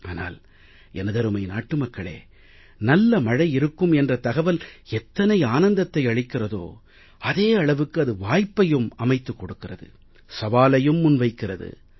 ஆனால் எனதருமை நாட்டு மக்களே நல்ல மழை இருக்கும் என்ற தகவல் எத்தனை ஆனந்தத்தை அளிக்கிறதோ அதே அளவுக்கு அது வாய்ப்பையும் அமைத்துக் கொடுக்கிறது சவாலையும் முன்வைக்கிறது